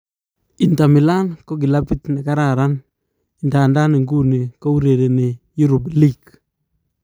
Inter Milan ko kilabit nekararan idadan iguni kourereni Europe League.